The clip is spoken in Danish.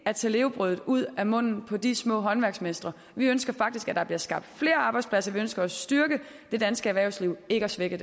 at tage levebrødet ud af munden på de små håndværksmestre vi ønsker faktisk at der bliver skabt flere arbejdspladser vi ønsker at styrke det danske erhvervsliv ikke at svække